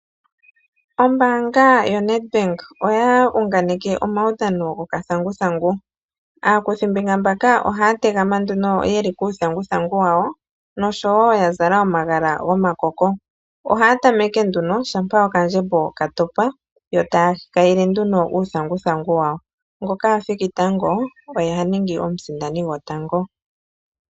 Ombaanga yoNedbank oya uunganeke omawudhano gokathanguthangu. Aakuthimbinga mbaka ohaa tegama nduno ye li kuuthanguthangu wa wo noshowo ya zala omagala gomakoko. Ohaa tameke nduno shampa okandjembo ka topa. Yo taa kayile nduno uuthanguthangu wa wo. Ngoka athiki tango oye ha ningi omusindani gotango.